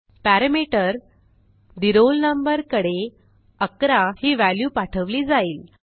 parameter the roll number कडे 11 ही value पाठवली जाईल